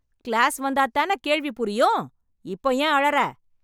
Class வந்தாதானே கேள்வி புரியும். இப்போ ஏன் அழற?